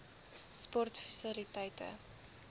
sportfasiliteite